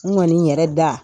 N kɔni yɛrɛ da